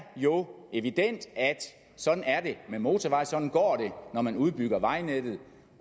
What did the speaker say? jo evident at sådan er det med motorveje sådan går det når man udbygger vejnettet